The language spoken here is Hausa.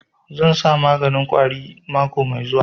Zan sa maganin ƙwari mako mai zuwa